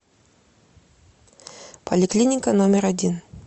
поликлиника номер один